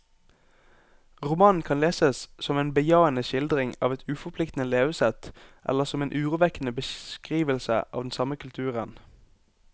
Romanen kan leses som en bejaende skildring av et uforpliktende levesett, eller som en urovekkende beskrivelse av den samme kulturen.